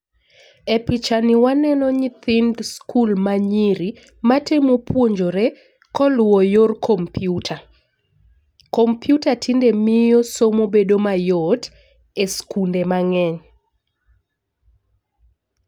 E picha ni waneno nyithind skul manyiri matemo puonjore koluwo yor kompiuta. Komputa tinde miyo somo bedo mayot e skunde mang'eny